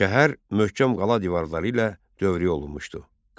Şəhər möhkəm qala divarları ilə dövrü olunmuşdu.